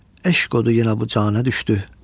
Eşq odu yenə bu canə düşdü.